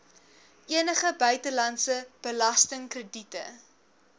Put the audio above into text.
enige buitelandse belastingkrediete